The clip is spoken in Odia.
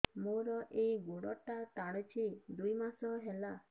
ମୋର ଏଇ ଗୋଡ଼ଟା ଟାଣୁଛି ଦୁଇ ମାସ ହେଲା